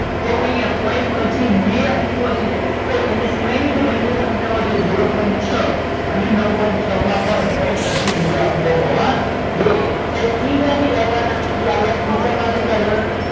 તો અહિયાં point પછી બે અંકો છે તો એની સિવાય ની જે બંને સંખ્યાઓ છે zero point છ અને નવ point છ માં પણ point પછી બે અંકો હોવા જોઈએ સાહેબ એ ક્યાંથી લાવવા ના એ આપદા ખિસ્સા માં થી કાઢવા નાં